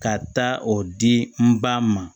Ka taa o di n ba ma